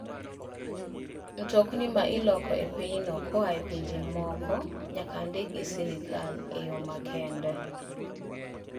Mtokni ma iloko e pinyno koa e pinje moko nyaka ndik gi sirkal e yo makende.